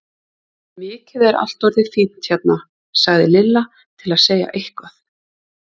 Mikið er allt orðið fínt hérna! sagði Lilla til að segja eitthvað.